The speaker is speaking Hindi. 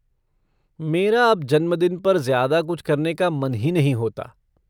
मेरा अब जन्मदिन पर ज़्यादा कुछ करने का मन ही नहीं होता।